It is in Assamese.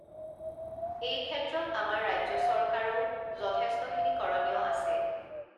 এইক্ষেত্ৰত আমাৰ ৰাজ্য চৰকাৰও যথেষ্ঠখিনি কৰণীয় আছে